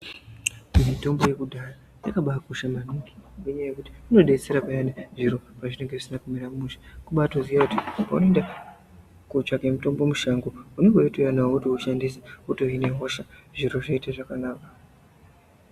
Mitombo ye kudhaya yaka bai kosha maningi ngenya yekuti ino detsera payani zviro pa zvinenge zvisina kumira mushe kubai toziya kuti pauno enda ko tsvake mutombo mushango unenge weito uya nawo woto ushandisa woto hine hosha zviro zvotoita zvakanaka.